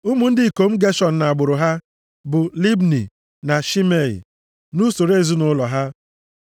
Ụmụ ndị ikom Geshọn, nʼagbụrụ ha, bụ Libni na Shimei, nʼusoro ezinaụlọ ha.